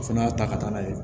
O fana y'a ta ka taa n'a ye